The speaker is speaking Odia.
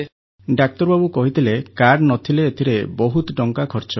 ଡାକ୍ତରବାବୁ କହିଥିଲେ କାର୍ଡ଼ ନ ଥିଲେ ଏଥିରେ ବହୁତ ଟଙ୍କା ଖର୍ଚ୍ଚ ହେବ